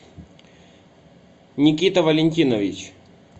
никита валентинович